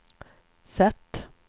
sätt